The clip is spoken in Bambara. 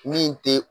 Min te